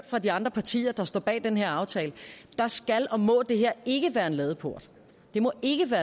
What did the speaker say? for de andre partier der står bag den her aftale skal og må det her ikke være en ladeport